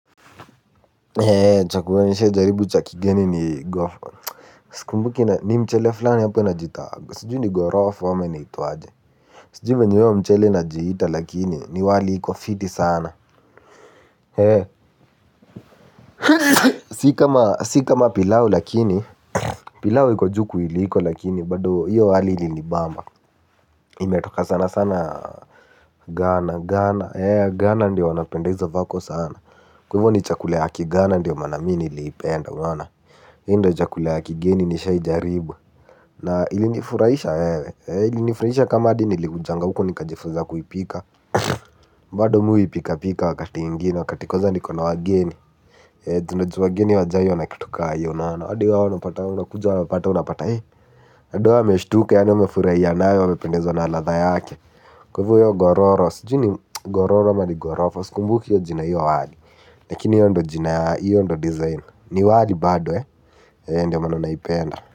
Eh chakula nishai jaribu cha kigeni ni sikumbuki ni mchele flani apo inajiita sijui ni ghorofa ama inaitwaje. Sijui vyenye hio mchele inajiita lakini ni wali iko fiti sana eh. Si kama si kama pilau lakini pilau iko juu kuiliko lakini bado hiyo wali ilinibamba imetoka sana sana ghana eh ghana ndio wanapenda izo vako sana. Kwaivo ni chakula ya kighana ndio maana mi niliipenda unaona. Hio ndio chakula ya kigeni nishai jaribu na ilinifurahisha wewe ilinifurahisha kama hadi nilikuja huku nikajifunza kuipika. Bado mi huipika pika wakati ingine. Wakati kwanza niko na wageni ju unajua wageni hawajai ona kitu ka iyo unaona hadi ao wanapata unapata. Hadi hao wameshtuka yaani wamefurahia nayo amependezwa na ladha yake kwaivo io ghororo sijui ni ghororo ama ni ghorofa sikumbuki io jina ya io wali lakini io ndio jina io ndio design ni wali bado ndio maana naipenda.